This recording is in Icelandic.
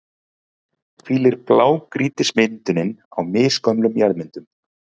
hvílir blágrýtismyndunin á misgömlum jarðmyndunum.